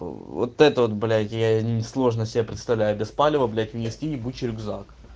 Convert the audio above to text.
вот это вот блять я несложно себе представляю без палева блять нести ебучий рюкзак